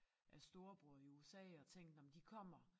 Af storebror i USA og tænkt nåh men de kommer